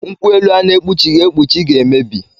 Nkwuelu a na-ekpuchighi ekpuchi ga-emebi